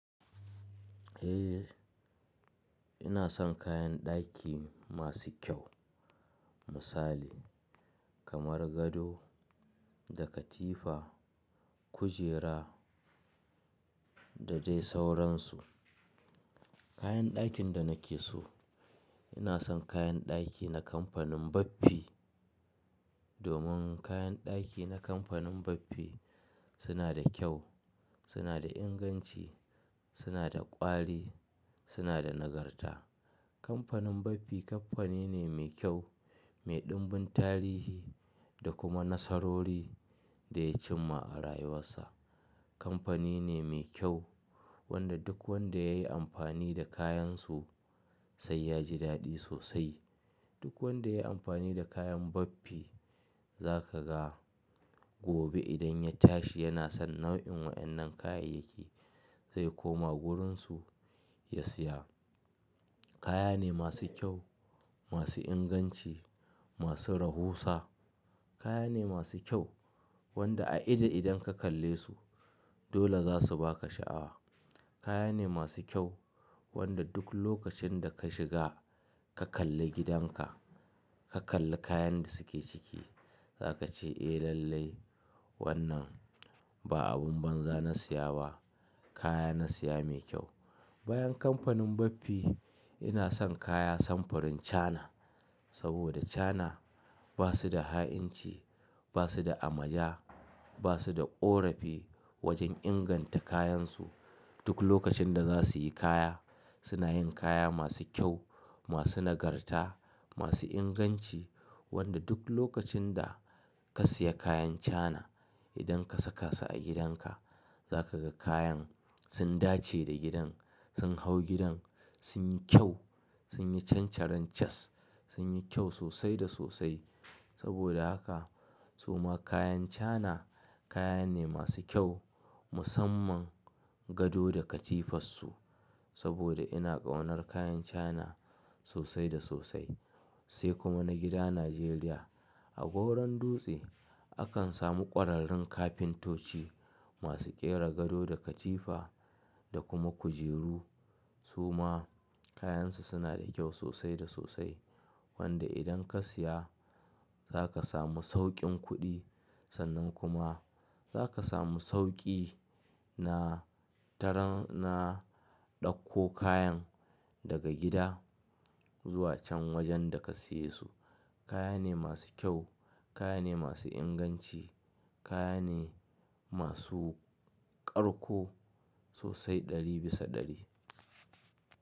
Eh, ina son kayan ɗaki masu kyau misali kamar gado da katifa, kujera da dai sauransu. Kayan ɗakin da nake so, ina son kayan ɗaki na kamfanin Baffi domin kayan ɗaki na kamfanin Baffi suna da kyau, suna da inganci, suna da ƙwari, suna da nagarta. Kamfanin Baffi kamfani ne mai kyau, mai ɗimbin tarihi da kuma nasarori da ya cimma a rayuwarsa. Kamfani ne mai kyau wanda duk wanda ya yi amfani da kayansu sai ya ji daɗi sosai. Duk wanda ya yi amfani da kayan Baffi za ka ga gobe idan ya tashi yana son nau'in waɗannan kayayyake zai koma wurinsu ya saya. Kaya ne masu kyau, masu inganci, masu rahusa. Kaya ne masu kyau wanda a ido idan ka kalle su dole za su baka sha'awa. Kaya ne masu kyau wanda duk lokacin da ka shiga ka kalle gidanka, ka kalle kayan da suke ciki za ka ce eh lallai wannan ba abun banza na saya ba. Kaya na saya mai kyau. Bayan kamfanin Baffi ina son kaya samfurin China saboda China ba su da ha'inci, ba su da amaja, ba su da ƙorafi wajen inganta kayansu. Duk lokacin da za su yi kaya suna yin kaya masu kyau, masu nagarta, masu inganci wanda duk lokacin da ka saya kayan China idan ka saka su a gidanka za ka ga kayan sun dace da gidan, sun hau gidan, sun yi kyau, sun yi cancaren cas, sun yi kyau sosai da sosai. Saboda haka, suma kayan China kaya ne masu kyau musamman gado da katifas su saboda ina ƙaunar kayan China sosai da sosai. Sai kuma na gida Najeriya a goron dutse akan samu ƙwararrun kafintoci masu ƙera gado da katifa da kuma kujeru suma kayansu suna da kyau sosai da sosai wanda idan ka saya za ka samu saukin kuɗi sannan kuma za ka samu sauƙi na taron na ɗauko kayan daga gida zuwa can wajen da ka siye su. Kaya ne masu kyau, kaya ne masu inganci, kaya ne masu ƙarko sosai ɗari bisa ɗari.